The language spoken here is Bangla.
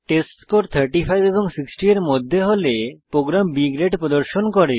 টেস্টস্কোর 35 এবং 60 এর মধ্যে হলে প্রোগ্রাম B গ্রেড প্রদর্শন করে